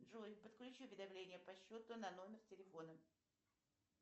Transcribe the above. джой подключи уведомления по счету на номер телефона